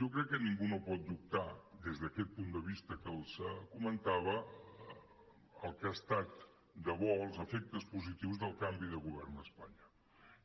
jo crec que ningú no pot dubtar des d’aquest punt de vista que els comentava el que ha estat de bo els efectes positius del canvi de govern a espanya